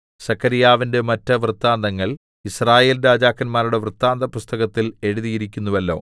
സെഖര്യാവിന്റെ മറ്റ് വൃത്താന്തങ്ങൾ യിസ്രായേൽ രാജാക്കന്മാരുടെ വൃത്താന്തപുസ്തകത്തിൽ എഴുതിയിരിക്കുന്നുവല്ലോ